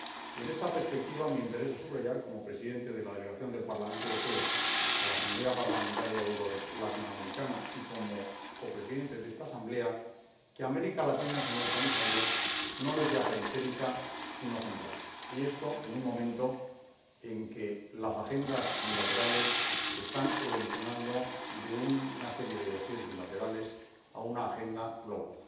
y en esta perspectiva me interesa subrayar, como presidente de la Delegación del Parlamento Europeo en la Asamblea Parlamentaria Eurolatinoamericana y como copresidente de esta Asamblea, que América Latina, señor Comisario, no es ya periférica, sino central, y esto en un momento en que las agendas bilaterales están evolucionando de una serie de dosieres bilaterales a una agenda global.